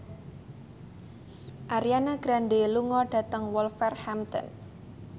Ariana Grande lunga dhateng Wolverhampton